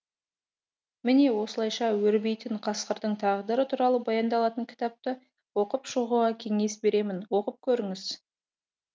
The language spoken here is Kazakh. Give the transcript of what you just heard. міне осылайша өрбейтін қасқырдың тағдыры туралы баяндалатын кітапты оқып шығуға кеңес беремін оқып көріңіз